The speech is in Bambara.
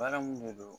Baara mun de don